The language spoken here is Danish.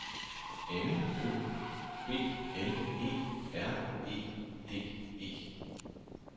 M Ø B L E R E D E